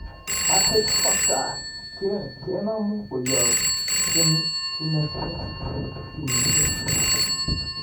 Rh factor kenomu koyob genesiek